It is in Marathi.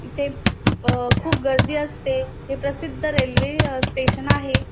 इथे अ खूप गर्दी असते तिथ सिद्ध रेल्वे स्टेशन आहे.